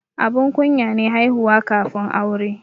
Abun kunya ne haihuwa kafin aure.